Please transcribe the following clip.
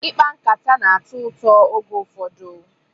Ikpa nkataka na-atọ ụtọ oge ụfọdụ